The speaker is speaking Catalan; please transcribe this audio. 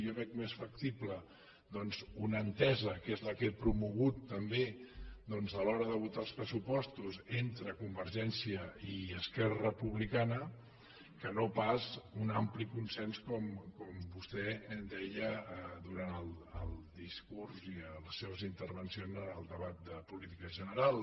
jo veig més factible una entesa que és la que he promogut també a l’hora de votar els pressupostos entre convergència i esquerra republicana que no pas un ampli consens com vostè deia durant el discurs i les seves intervencions en el debat de política general